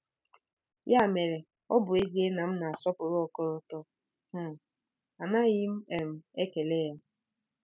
Ya mere, ọ bụ ezie na m na-asọpụrụ ọkọlọtọ um, anaghị m um ekele ya.